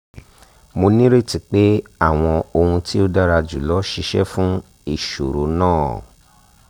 mo nireti pe awọn ohun ti o dara julọ ṣiṣẹ fun iṣoro naa